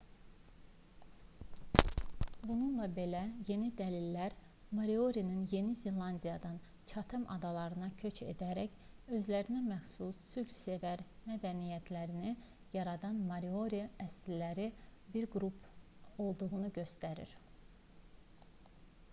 bununla belə yeni dəlillər moriorinin yeni zelandiyadan çatem adalarına köç edərək özlərinəməxsus sülhsevər mədəniyyətlərini yaradan maori əsilli bir qrup olduğunu göstərir